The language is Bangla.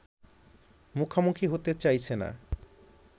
মুখোমুখি হতে চাইছে না